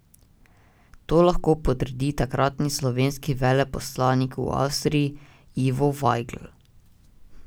To lahko potrdi takratni slovenski veleposlanik v Avstriji Ivo Vajgl.